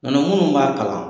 Nɔtɛ minnu b'a kalan